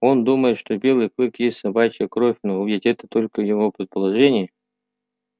он думает что белый клык есть собачья кровь но ведь это только его предположение